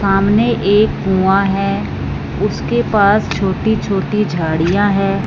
सामने एक कुआं है उसके पास छोटी-छोटी झाड़ियां है।